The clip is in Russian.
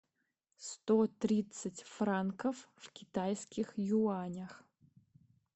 сто тридцать франков в китайских юанях